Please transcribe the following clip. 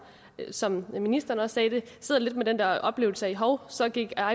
som ministeren også sagde det sidder lidt med den der oplevelse af at hov så gik